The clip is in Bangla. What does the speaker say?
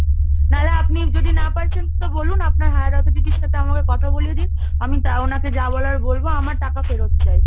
নাহলে আপনি যদি না পারছেন তো বলুন? আপনার higher authority র সাথে আমাকে কথা বলিয়ে দিন, আমি তা ওনাকে যা বলার বলব, আমার টাকা ফেরত চাই।